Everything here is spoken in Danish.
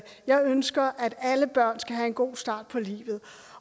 jeg ønsker at alle børn skal have en god start på livet